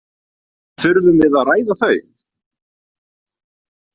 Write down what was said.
Þurfum við að ræða þau?